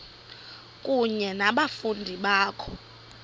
kunye nabafundi bakho